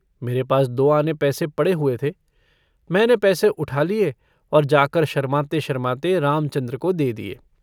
मेरे पास दो आने पैसे पड़े हुए थे। मैंने पैसे उठा लिए और जाकर शरमाते-शरमाते रामचन्द्र को दे दिए।